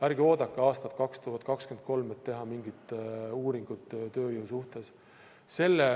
Ärge oodake aastat 2023, et teha mingit uuringut tööjõu suhtes.